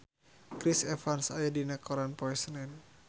Chris Evans aya dina koran poe Senen